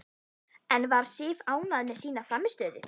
En var Sif ánægð með sína frammistöðu?